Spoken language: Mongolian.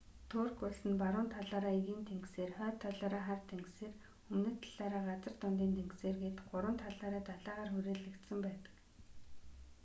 турк улс нь баруун талаараа эгийн тэнгисээр хойд талаараа хар тэнгисээр өмнөд талаараа газар дундын тэнгисээр гээд гурван талаараа далайгаар хүрээлэгдсэн байдаг